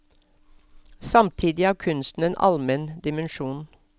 Samtidig har kunsten en almen dimensjon.